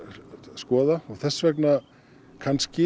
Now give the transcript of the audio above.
skoða og þess vegna